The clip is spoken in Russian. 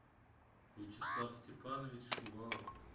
вячеслав степанович шувалов